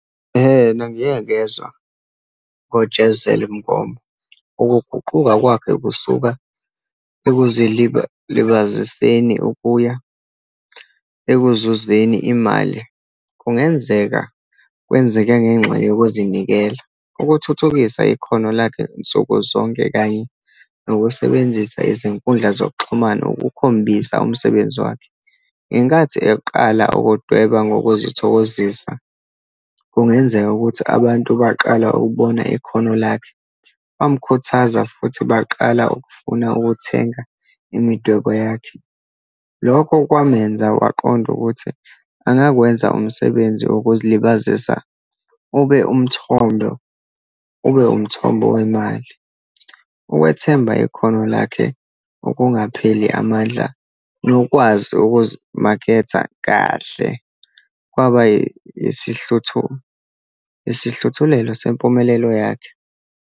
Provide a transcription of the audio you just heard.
Ehena, ngike ngezwa ngoJezelle Mngoma. Ukuguquka kwakhe kusuka ukuya ekuzuzeni imali, kungenzeka kwenzeke ngenxa yokuzinikela, ukuthuthukisa ikhono lakhe nsuku zonke, kanye nokusebenzisa izinkundla zokuxhumana ukukhombisa umsebenzi wakhe. Ngenkathi eyokuqala ukudweba ngokuzithokozisa, kungenzeka ukuthi abantu baqala ukubona ikhono lakhe, bamkhuthaza, futhi baqala ukufuna ukuthenga imidwebo yakhe. Lokho kwamenza waqonda ukuthi angakwenza umsebenzi wokuzilibazisa ube umthondo, ube umthombo wemali. Ukwethemba ikhono lakhe, ukungapheli amandla, nokwazi ukuzimaketha kahle, kwabayisihluthu, yisihluthulelo sempumelelo yakhe.